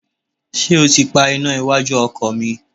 Ṣé ó ti pa iná iwájú ọkọ̀ mi?